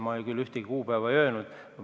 Mina küll ühtegi kuupäeva ei öelnud.